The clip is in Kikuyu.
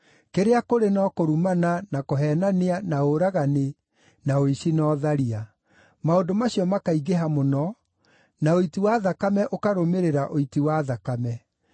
Kĩrĩa kũrĩ no kũrumana, na kũheenania, na ũragani, na ũici, na ũtharia; maũndũ macio makaingĩha mũno, na ũiti wa thakame ũkarũmĩrĩra ũiti wa thakame.